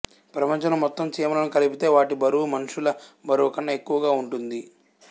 ప్రపంచంలో మొత్తం చీమలను కలిపితే వాటి బరువు మనుషుల బరువు కన్నా ఎక్కువ ఉంటుంది